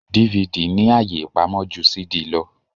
DVD ní àyè ipàmò jù CD ló.